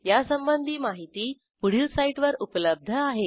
यासंबंधी माहिती पुढील साईटवर उपलब्ध आहे